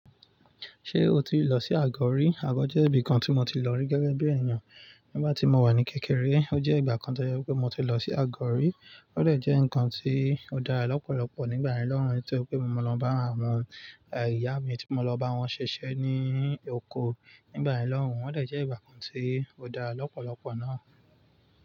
Ṣé o ti lọ sí Àgọ̀ rí? Àgọ̀ jẹ́ ibi kan tí mo ti lọ rí gẹ́gẹ́ bí èèyàn nígbà tí mo wà ní kékeré. Ó jẹ́ ìgbà kan tó jẹ́ wí pé mo ti lọ sí Àgọ̀ rí. Ó dẹ̀ jẹ́ nǹkan tí ó dára lọ́pọ̀lọpọ̀ nígbà lọ́hùn tó pé mo lọ bá àwọn ìyá mi tí mo lọ bá wọn ṣiṣẹ́ ní oko nígbà lọ́hùn. Ó dẹ̀ ẹ́ ìgbà kan tí ó dára lọ́pọ̀lọpọ̀ náà.